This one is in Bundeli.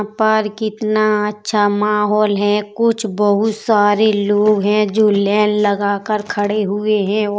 पर कितना अच्छा माहौल है। कुछ बोहोत सारे लोग हैं जो लेन लगाकर खड़े हुए हैं औ --